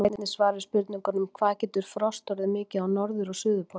Hér er einnig svar við spurningunum: Hvað getur frost orðið mikið á norður- og suðurpólnum?